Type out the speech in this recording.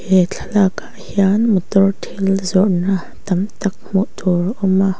he thlalak ah hian motor thil zawrh na tam tak hmuh tur a awm a.